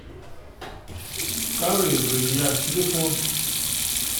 старые друзья телефон